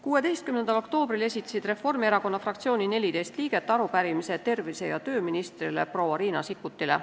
16. oktoobril esitasid Reformierakonna fraktsiooni 14 liiget arupärimise tervise- ja tööministrile proua Riina Sikkutile.